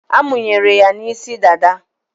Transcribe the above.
A munyere ya n'isi dada